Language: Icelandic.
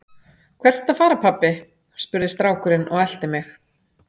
Hvert ertu að fara pabbi? spurði strákurinn og elti mig.